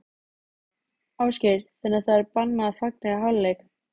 Ásgeir: Þannig að það er bannað að fagna í hálfleik?